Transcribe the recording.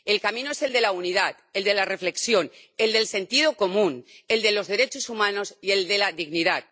El camino es el de la unidad, el de la reflexión, el del sentido común, el de los derechos humanos y el de la dignidad.